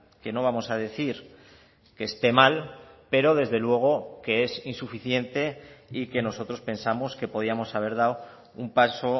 que no vamos a decir que esté mal pero desde luego que es insuficiente y que nosotros pensamos que podíamos haber dado un paso